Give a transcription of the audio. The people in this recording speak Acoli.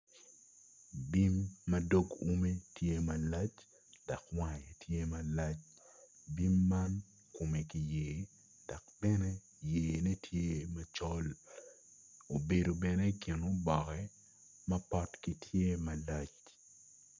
Bim ma dog ume tye malac dok wange tye malac bim man kome kiyer dok bene yene tye macol obedo bene i kin oboke mapotgi tye malac.